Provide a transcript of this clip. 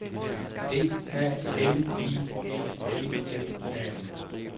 D A N I E L L A